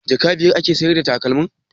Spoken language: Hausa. Jaka biyar ake sayar da takalmin?